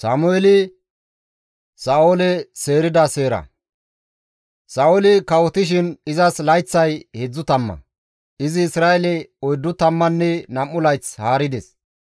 Sa7ooli kawotishin izas layththay heedzdzu tamma. Izi Isra7eele oyddu tammanne nam7u layth haarides.